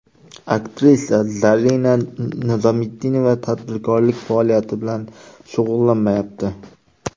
Aktrisa Zarina Nizomiddinova tadbirkorlik faoliyati bilan shug‘ullanmayapti.